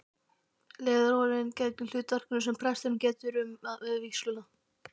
Leðurólin gegnir hlutverkinu sem presturinn getur um við vígsluna.